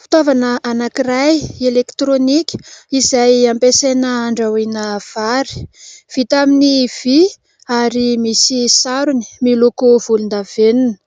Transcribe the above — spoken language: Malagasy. Fitaovana anankiray elektrônika izay ampiasaina andrahoana vary. Vita amin'ny vy ary misy sarony miloko volondavenona.